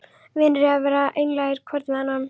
Vinir eiga að vera einlægir hvor við annan.